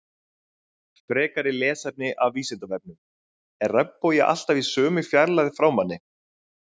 Frekara lesefni af Vísindavefnum: Er regnbogi alltaf í sömu fjarlægð frá manni?